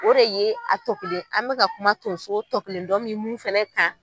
O de ye a tɔ kelen an mɛka kuma tonso tɔ kelen dɔ min mun fɛnɛ kan